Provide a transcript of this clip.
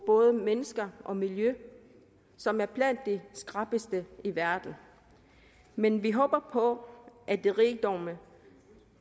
både mennesker og miljø som er blandt de skrappeste i verden men vi håber på at de rigdomme